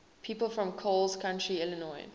people from coles county illinois